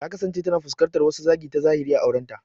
Ta kasance tana fuskantar wasu zagi ta zahiri a aurenta.